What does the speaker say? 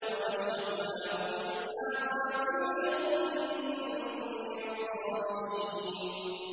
وَبَشَّرْنَاهُ بِإِسْحَاقَ نَبِيًّا مِّنَ الصَّالِحِينَ